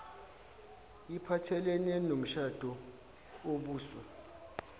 iphathelene nomshado obuswa